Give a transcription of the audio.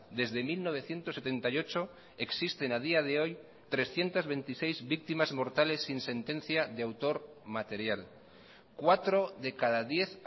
desde mil novecientos setenta y ocho existen a día de hoy trescientos veintiséis víctimas mortales sin sentencia de autor material cuatro de cada diez